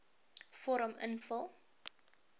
vorm invul